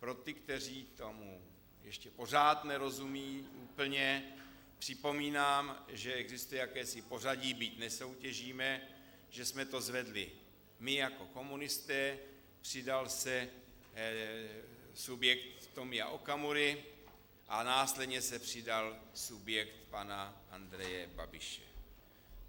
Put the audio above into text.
Pro ty, kteří tomu ještě pořád nerozumí úplně, připomínám, že existuje jakési pořadí, byť nesoutěžíme, že jsme to zvedli my jako komunisté, přidal se subjekt Tomia Okamury a následně se přidal subjekt pana Andreje Babiše.